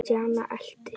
Stjáni elti.